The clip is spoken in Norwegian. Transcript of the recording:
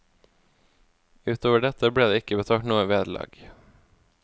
Ut over dette ble det ikke betalt noe vederlag.